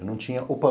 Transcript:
Eu não tinha o pão.